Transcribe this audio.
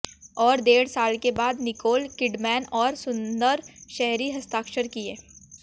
और डेढ़ साल के बाद निकोल किडमैन और सुन्दर शहरी हस्ताक्षर किए